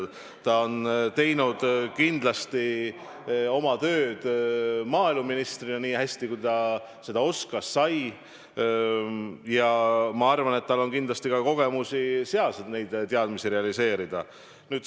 Ta tegi kindlasti oma tööd maaeluministrina nii hästi, kui ta seda oskas ja sai, ja ma arvan, et tal on kindlasti ka kogemusi ja teadmisi, mida seal realiseerida.